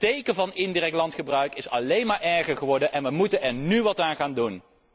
De tekenen van indirect landgebruik zijn alleen maar erger geworden en wij moeten er nu wat aan gaan doen!